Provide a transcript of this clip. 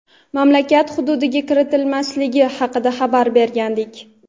mamlakat hududiga kiritilmasligi haqida xabar bergandik.